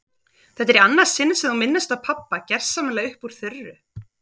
Þetta er í annað sinn sem þú minnist á pabba gersamlega upp úr þurru.